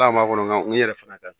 Hal'a m'a kɔnɔ gan, yɛrɛ fana da